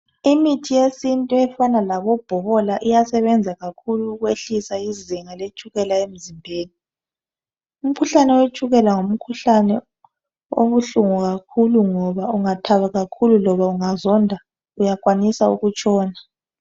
Imithi yesintu efana labo bhokola iyasebenza kakhulu ukwehlisa izinga letshukela emzimbeni umkhuhlane wetshukela ngomkhuhlane obuhlungu kakhulu ngoba ungathaba kakhulu loba ungazonda uyakwanisa ukutshona.